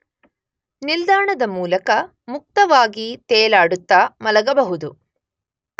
ನಿಲ್ದಾಣದ ಮೂಲಕ ಮುಕ್ತವಾಗಿ ತೇಲಾಡುತ್ತ ಮಲಗಬಹುದು.